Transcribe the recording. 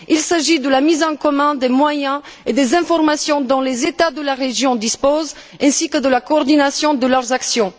Il s'agit de la mise en commun des moyens et des informations dont les États de la région disposent, ainsi que de la coordination de leurs actions.